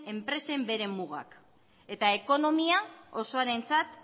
enpresen beren mugak eta ekonomia osoarentzat